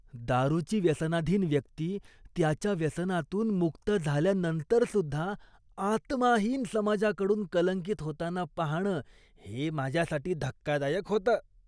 दारूची व्यसनाधीन व्यक्ती त्याच्या व्यसनातून मुक्त झाल्यानंतरसुद्धा आत्माहीन समाजाकडून कलंकित होताना पाहणं हे माझ्यासाठी धक्कादायक होतं.